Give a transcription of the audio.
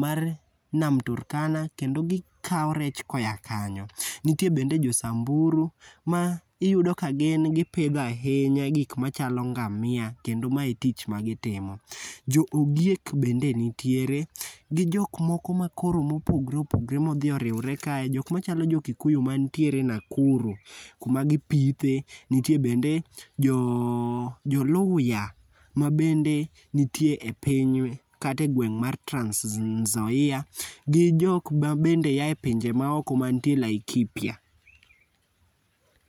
mar nam Turkana kendo gikawo rech koya kanyo. Nitie bende Josamburu ma iyudo ka gin gipidho ahinya gik machalo ngamia kendo ma e tich magitimo. Joogiek bende nitiere, gi jok moko ma koro mopogre opogre modhi oriwre kae jok machalo jokikuyu mantiere Nakuru kuma gipiithe, nitie bende joluhya mabende nitie e piny kata e gweng' mar Transnzoia, gi jok mabende aye pinje maoko mantie Laikipia.